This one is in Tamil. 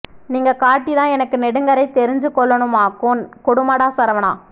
நீங்கள் காட்டித் தான் எனக்கு நெடுக்கரை தெரிஞ்சு கொள்ளோணுமாக்கும் கொடுமைடா சரவணா